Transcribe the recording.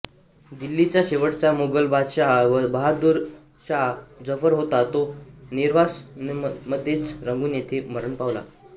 दिल्लीचा शेवटचा मोगल बादशहा बहादूर शाह जफर होता तो निर्वासनमध्येच रंगून येथे मरण पावला